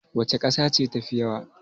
Wace kasa ce tafi yawa?